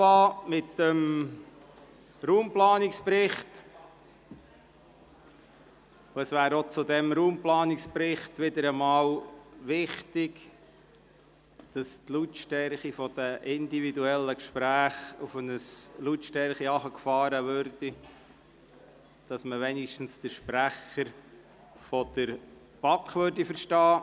Wir kommen jetzt zum Raumplanungsbericht, und es wäre wichtig, die persönlichen Gespräche auf eine Lautstärke zu bringen, die es uns erlaubt, zumindest den Sprecher der BaK zu verstehen.